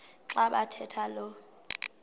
xa bathetha lo